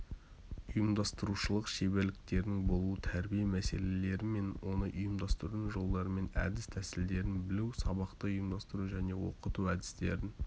ұйымдастырушылық шеберліктерінің болуы тәрбие мәселелері мен оны ұйымдастырудың жолдарымен әдіс-тәсілдерін білу сабақты ұйымдастыру және оқыту әдістерін